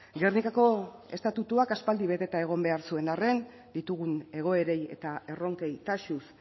gernikako estatutuak aspaldi beteta egon behar zuen arren ditugun egoerei eta erronkei taxuz